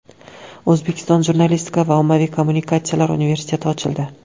O‘zbekiston jurnalistika va ommaviy kommunikatsiyalar universiteti ochildi.